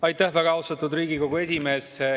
Aitäh, väga austatud Riigikogu esimees!